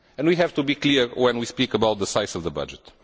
We have to be clear when we speak about the size of the budget.